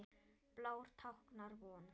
Blár táknar von.